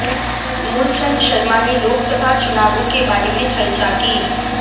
मूलचंद शर्मा ने लोकसभा चुनावों के बारे में चर्चा की